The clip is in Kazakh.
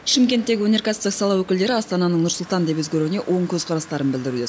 шымкенттегі өнеркәсіптік сала өкілдері астананың нұр сұлтан деп өзгеруіне оң көзқарастарын білдіруде